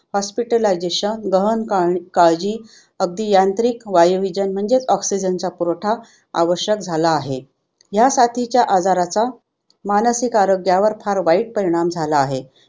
hospitalisation गहण कां काळजी अगदी यांत्रिक वायुविजन म्हणजेच oxygen चा पुरवठा आवश्यक झाला आहे. ह्यासाथीच्या आजाराचा मानसिक आरोग्यावर फार वाईट परिणाम झाला आहे.